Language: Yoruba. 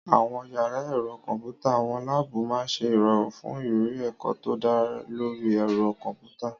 Àwọn yàrá ẹ̀rọ kọ̀m̀pútà/àwọn láàbù máa ń ṣe ìrọ̀rùn fún ìrírí ẹ̀kọ́ tó dá lórí ẹ̀rọ kọ̀m̀pútà.